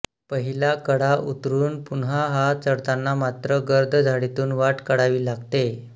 पहिला कडा उतरून पुन्हा हा चढताना मात्र गर्द झाडीतून वाट काढावी लागते